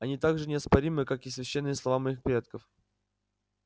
они так же неоспоримы как и священные слова моих предков